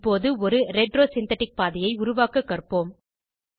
இப்போது ஒரு retro synthetic பாதையை உருவாக்க கற்போம்